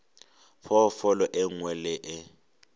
phoofolo e nngwe le e